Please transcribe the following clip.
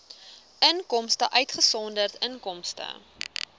inkomste uitgesonderd inkomste